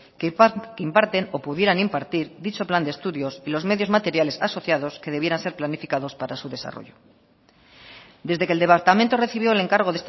que imparten o pudieran impartir dicho plan de estudios y los medios materiales asociados que debieran ser planificados para su desarrollo desde que el departamento recibió el encargo